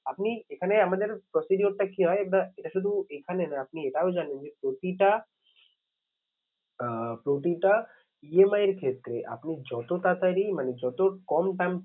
আপনি এখানে আমাদের procedure টা কি হয় এটা শুধু এখানে না আপনি এটাও জানেন যে প্রতিটা আহ প্রতিটা EMI এর ক্ষেত্রে আপনি যত টাকারই মানে যত কম